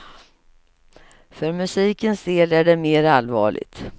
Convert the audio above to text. För musikens del är det mer allvarligt.